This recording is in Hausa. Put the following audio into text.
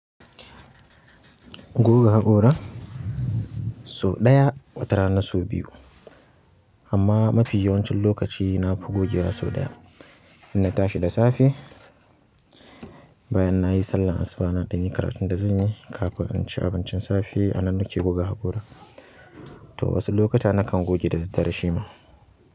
Goga haƙora, so ɗaya watarana so biyu amma mafi yawancin lokaci na fi gogewa so ɗaya. Inna tashi da safe, bayan nayi sallan asuba na ɗanyi karatun da zan yi, kafin in ci abincin safe a nan nake goga haƙora. To wasu lokuta na kan goge da daddare shima.